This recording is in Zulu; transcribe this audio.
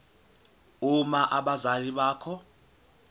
uma abazali bakho